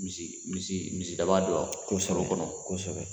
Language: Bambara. Misi misi misidaba kalo kɔnɔ .Kosɛbɛ